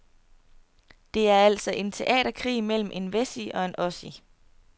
Det er altså en teaterkrig mellem en wessie og en ossie.